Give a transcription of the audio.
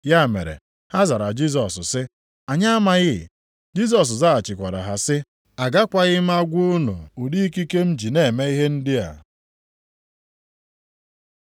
Ya mere ha zara Jisọs sị, “Anyị amaghị.” Jisọs zaghachikwara ha sị, “Agakwaghị m agwa unu ụdị ikike m ji na-eme ihe ndị a.”